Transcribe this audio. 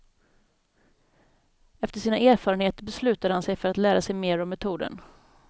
Efter sina erfarenheter beslutade han sig för att lära sig mer om metoden.